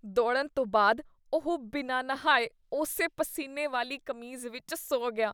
ਦੌੜਨ ਤੋਂ ਬਾਅਦ ਉਹ ਬਿਨਾਂ ਨਹਾਏ ਉਸੇ ਪਸੀਨੇ ਵਾਲੀ ਕਮੀਜ਼ ਵਿੱਚ ਸੌਂ ਗਿਆ।